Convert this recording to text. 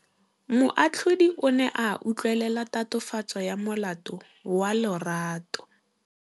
Moatlhodi o ne a utlwelela tatofatsô ya molato wa Lerato.